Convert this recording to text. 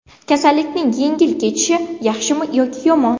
Kasallikning yengil kechishi yaxshimi yoki yomon?